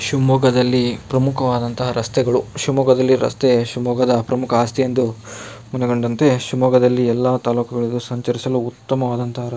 ಶಿವಮೊಗ್ಗದಲ್ಲಿ ಪ್ರಮುಖವಾದಂತಹ ರಸ್ತೆಗಳು ಶಿವಮೊಗ್ಗದಲ್ಲಿ ರಸ್ತೆ ಶಿವಮೊಗ್ಗದ ಪ್ರಮುಖ ಆಸ್ತಿ ಎಂದು ಮನಗಂಡಂತೆ ಶಿವಮೊಗ್ಗದಲ್ಲಿ ಎಲ್ಲ ತಾಲೂಕುಗಳಿಗೆ ಸಂಚರಿಸಲು ಉತ್ತಮವಾದಂತಹ--